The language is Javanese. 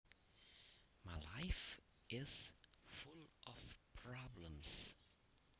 My life is full of problems